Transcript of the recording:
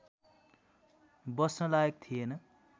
बस्न लायक थिएन